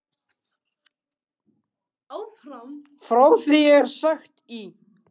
Frá því er sagt í